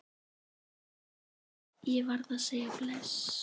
Ég varð að segja bless.